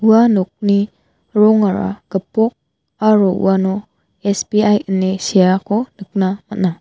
ua nokni rongara gipok aro uano S_B_I ine seako nikna man·a.